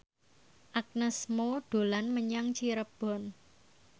Agnes Mo dolan menyang Cirebon